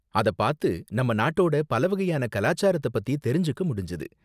அத பாத்து நம்ம நாட்டோட பலவகையான கலாச்சாரத்த பத்தி தெரிஞ்சுக்க முடிஞ்சது.